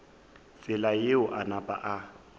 tsela yeo a napa a